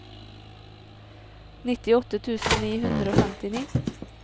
nittiåtte tusen ni hundre og femtini